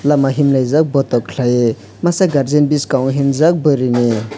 lama himlaijak botok khlaiui masa guardian biskango himjak buruini.